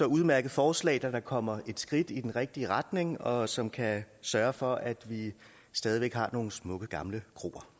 udmærket forslag der da kommer et skridt i den rigtige retning og som kan sørge for at vi stadig væk har nogle smukke gamle